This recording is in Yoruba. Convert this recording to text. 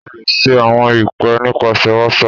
o le ṣe awọn ipe nipasẹ whatsapp